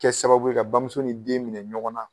Kɛ sababu ye ka bamuso ni den minɛ ɲɔgɔn na